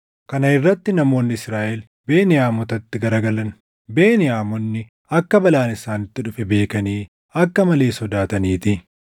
Kana irratti namoonni Israaʼel Beniyaamotatti garagalan; Beniyaamonni akka balaan isaanitti dhufe beekanii akka malee sodaataniitii.